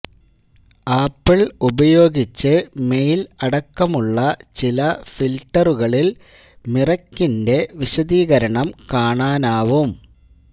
apple ഉപയോഗിച്ച് mail അടക്കമുള്ള ചില ഫിൽട്ടറുകളിൽ മിറക്കിൻറെ വിശദീകരണം കാണാനാവും